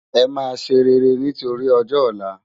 Emá séréré nitóri òjò òlá